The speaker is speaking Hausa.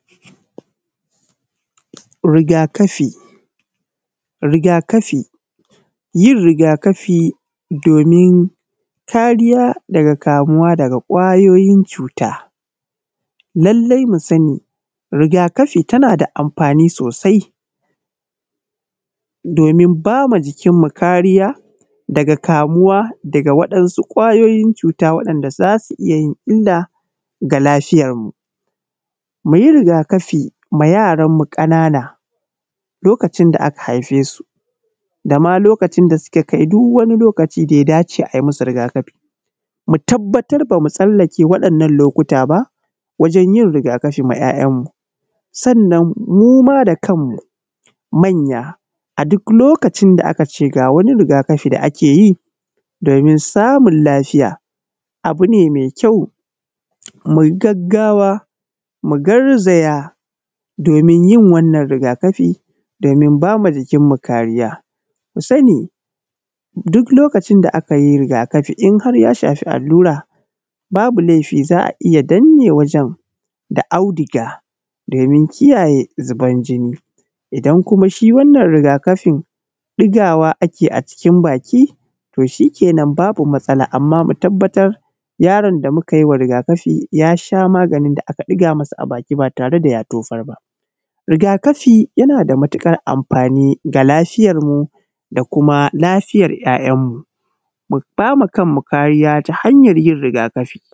Rigaƙafi rigaƙafi, yin rigaƙafi domin kariya daga kamuwa daga ƙwayoyin cuta, lallai mu sani rigaƙafi tana da amfani sosai domin bama jikinmu kariya daga kamuwa daga waɗansu ƙwayoyin cuta wanda zasu iya yin illa ga lafiyarmu, muyi rigaƙafi ga yaranmu kanana lokacin da aka haife su da ma lokacin da suka kai duk wani lokaci da ya dace ayi masu rigaƙafi, mu tabbatar bamu sallake waɗannan lokuta ba wajen yin rigaƙafi ma ‘ya’yanmu, sannan muma da kanmu manya a duk lokacin da aka ce ga wani rigaƙafi da ake yi domin samun lafiya abu ne mai kyau muyi gaggawa mu garzaya domin yin wannan rigaƙafi domin bama jikinmu kariya, ku sani duk lokacin da aka yi rigaƙafi in har ya shafi allura babu laifi za’a iya danne wajen da auduga domin kiyaye zubar jini, idan kuma shi wannan rigaƙafin ɗigawa ake yi a cikin baki to shi kenan babu matsala, amma mu tabbatar yaron da muka yi wa rigaƙafi ya sha maganin da aka ɗika masa a baki ba tare da ya tofar ba, rigaƙafi yana da matuƙar amfani ga lafiyarmu da kuma lafiyar ‘yayanmu, mu bama kanmu kariya ta hanyar yin rigaƙafi.